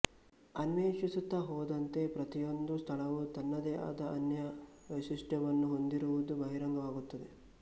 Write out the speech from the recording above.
ಅನ್ವೇಷಿಸುತ್ತಾ ಹೋದಂತೆ ಪ್ರತಿಯೊಂದು ಸ್ಥಳವೂ ತನ್ನದೇ ಆದ ಅನನ್ಯ ವೈಶಿಷ್ಟ್ಯವನ್ನು ಹೊಂದಿರುವುದು ಬಹಿರಂಗವಾಗುತ್ತದೆ